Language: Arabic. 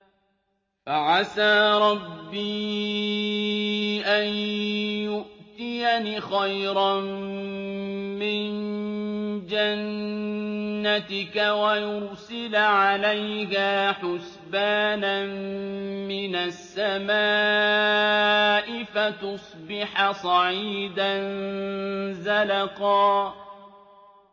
فَعَسَىٰ رَبِّي أَن يُؤْتِيَنِ خَيْرًا مِّن جَنَّتِكَ وَيُرْسِلَ عَلَيْهَا حُسْبَانًا مِّنَ السَّمَاءِ فَتُصْبِحَ صَعِيدًا زَلَقًا